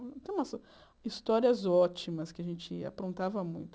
Eu tenho umas histórias ótimas que a gente aprontava muito.